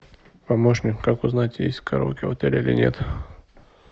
помощник как узнать есть караоке в отеле или нет